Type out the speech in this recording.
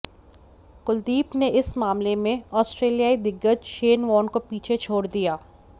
कुलदीप ने इस मामले में ऑस्ट्रेलियाई दिग्गज शेन वॉर्न को पीछे छोड़ दिया